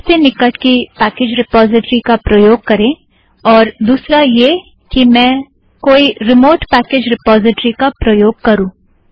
सबसे निकट की पैकेज़ रिपोज़िट्रि का प्रयोग करें और दुसरा यह है कि मैं कोई रिमोट पैकेज़ रिपोज़िट्रि का प्रयोग करूँ